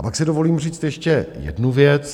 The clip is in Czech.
A pak si dovolím říct ještě jednu věc.